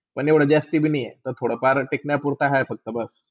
पण एवडा जास्ती भी नाय हाय थोडा फार टिकण्या पुरता हाय फक्ता बस.